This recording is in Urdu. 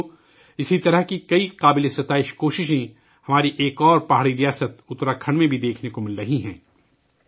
ساتھیو ، اسی طرح ہماری کی کئی قابل ستائش کوششیں ہماری ایک پہاڑی ریاست اتراکھنڈ میں بھی دیکھنے کو مل رہی ہیں